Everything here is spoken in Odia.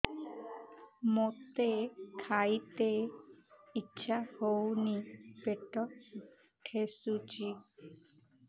ମୋତେ ଖାଇତେ ଇଚ୍ଛା ହଉନି ପେଟ ଠେସୁଛି